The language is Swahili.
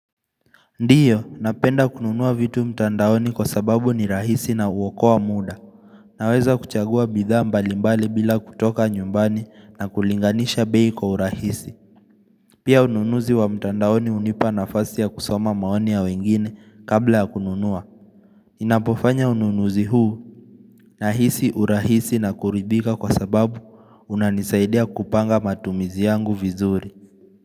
Ndiyo, napenda kununua vitu mtandaoni kwa sababu ni rahisi na uokoa muda. Naweza kuchagua bidhaa mbalimbali bila kutoka nyumbani na kulinganisha bei kwa urahisi. Pia ununuzi wa mtandaoni hunipa nafasi ya kusoma maoni ya wengine kabla ya kununua. Ninapofanya ununuzi huu nahisi urahisi na kuridhika kwa sababu unanisaidia kupanga matumizi yangu vizuri.